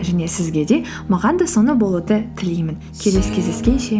және сізге де маған да соны болуды тілеймін келесі кездескенше